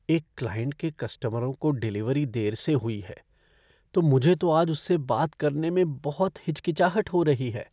एक क्लाइंट के कस्टमरों को डिलीवरी देर से हुई है, तो मुझे तो आज उससे बात करने में बहुत हिचकिचाहट हो रही है।